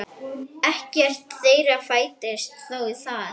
Ekkert þeirra fæddist þó þar.